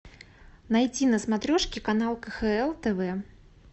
найти на смотрешке канал кхл тв